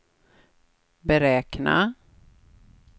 beräkna